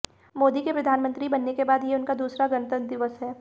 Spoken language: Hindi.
मोदी के प्रधानमंत्री बनने के बाद ये उनका दूसरा गणतंत्र दिवस है